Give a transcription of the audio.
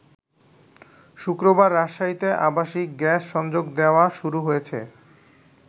শুক্রবার রাজশাহীতে আবাসিক গ্যাস সংযোগ দেয়া শুরু হয়েছে।